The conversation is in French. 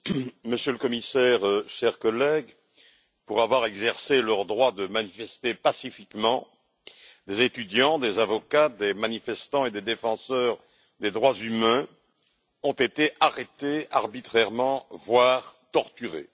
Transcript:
Madame la Présidente, Monsieur le Commissaire, chers collègues, pour avoir exercé leur droit de manifester pacifiquement, des étudiants, des avocats, des manifestants et des défenseurs des droits humains ont été arrêtés arbitrairement, voire torturés.